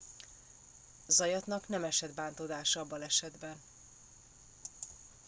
zayatnak nem esett bántódása a balesetben